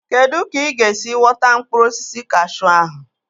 Kedụ ka ị ga-esi wọta mkpụrụ osisi kashuu ahụ?